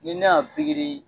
Ni ne y'a .